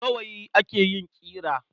Da gawayi ake yin ƙira.